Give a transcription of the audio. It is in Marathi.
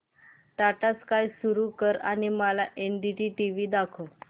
टाटा स्काय सुरू कर आणि मला एनडीटीव्ही दाखव